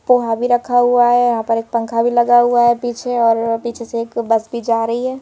पोहा भी रखा हुआ है यहां पर एक पंखा भी लगा हुआ है पीछे और पीछे से एक बस भी जा रही है।